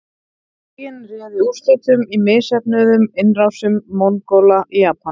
Boginn réði úrslitum í misheppnuðum innrásum Mongóla í Japan.